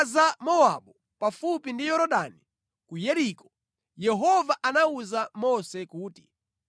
Ku zigwa za Mowabu pafupi ndi Yorodani ku Yeriko, Yehova anawuza Mose kuti,